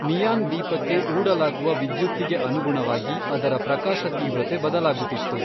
Neon ದೀಪಕ್ಕೆ ಊಡಲಾಗುವ ವಿದ್ಯುತ್ತಿಗೆ ಅನುಗುಣವಾಗಿ ಅದರ ಪ್ರಕಾಶ ತೀವ್ರತೆ ಬದಲಾಗುತ್ತಿತ್ತು.